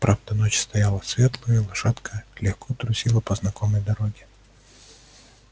правда ночь стояла светлая и лошадка легко трусила по знакомой дороге